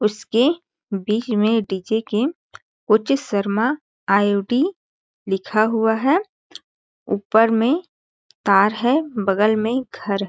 उसके बीच में डी_जे के कुछ शर्मा आई_ओ_डी लिखा हुआ है ऊपर में तार है बगल में घर हैं।